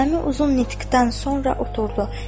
Nizami uzun nitqdən sonra oturdu.